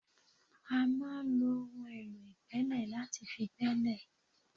A máa ń lo ohun èlò ìgbẹ́lẹ̀ láti fi gbẹ́lẹ̀